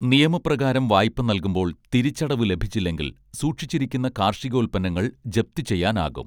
നിയമം പ്രകാരം വായ്പ നൽകുമ്പോൾ തിരിച്ചടവ് ലഭിച്ചില്ലെങ്കിൽ സൂക്ഷിച്ചിരിക്കുന്ന കാർഷികോൽപ്പന്നങ്ങൾ ജപ്തി ചെയ്യാനാകും